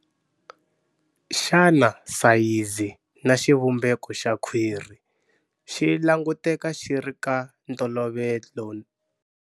Xana sayizi na xivumbeko xa khwiri xi languteka xi ri ka ntolovelo?